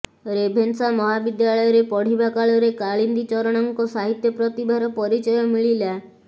Ravenshaw ମହାବିଦ୍ୟାଳୟରେ ପଢିବା କାଳରେ କାଳିନ୍ଦୀ ଚରଣଙ୍କ ସାହିତ୍ୟ ପ୍ରତିଭାର ପରିଚୟ ମିଳିଲା